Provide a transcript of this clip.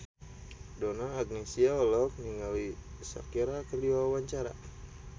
Donna Agnesia olohok ningali Shakira keur diwawancara